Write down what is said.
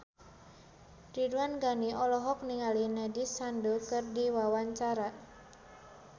Ridwan Ghani olohok ningali Nandish Sandhu keur diwawancara